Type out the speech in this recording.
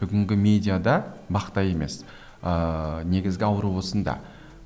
бүгінгі медиада мақта емес ыыы негізгі ауру осында